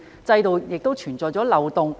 制度是否存在漏洞？